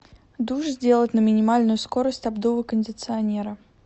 душ сделать на минимальную скорость обдува кондиционера